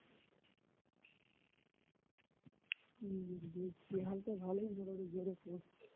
হুঁ বৃষ্টির হালত ভালোই মোটামুটি জোরে পড়ছে